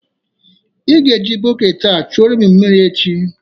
Ị ga-eji bọket a chuoro m mmiri echi.